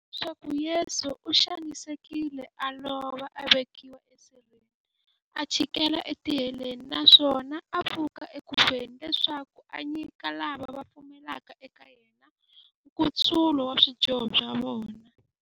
Leswaku Yesu u xanisekile, a lova, a vekiwa e sirheni, a chikela e tiheleni, naswona a pfuka eku feni, leswaku a nyika lava va pfumelaka eka yena, nkutsulo wa swidyoho swa vona.